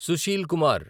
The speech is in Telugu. సుశీల్ కుమార్